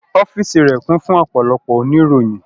Ọ́fíìsì rẹ̀ kún fún ọ̀pọ̀lọpọ̀ oníròyìn